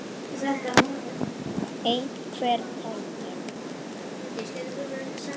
Einhver tenging?